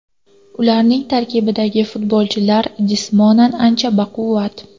Ularning tarkibidagi futbolchilar jismonan ancha baquvvat.